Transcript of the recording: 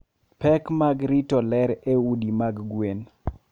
Pek mag rito ler e udi mag gwen.